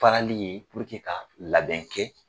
Farali ye ka labɛn kɛ.